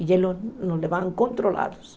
E eles nos nos levavam controlados.